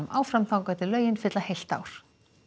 áfram þangað til lögin fylla heilt ár